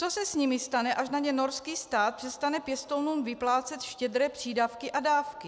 Co se s nimi stane, až na ně norský stát přestane pěstounům vyplácet štědré přídavky a dávky?